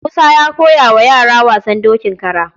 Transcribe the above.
Musa ya koya wa yara wasan dokin kara.